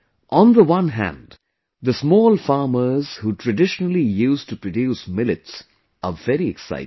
On the one hand, the small farmers who traditionally used to produce millets are very excited